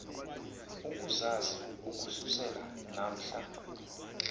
ukuzazi ukususela namhla